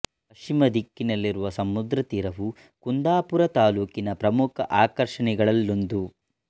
ಪಶ್ಚಿಮ ದಿಕ್ಕಿನಲ್ಲಿರುವ ಸಮುದ್ರ ತೀರವು ಕುಂದಾಪುರ ತಾಲ್ಲೂಕಿನ ಪ್ರಮುಖ ಆಕರ್ಷಣೆಗಳಲ್ಲೊಂದು